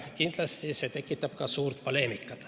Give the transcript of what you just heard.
Kindlasti tekitab see ka suurt poleemikat.